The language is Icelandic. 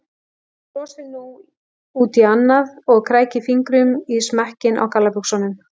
Hún brosir út í annað og krækir fingrum í smekkinn á gallabuxunum.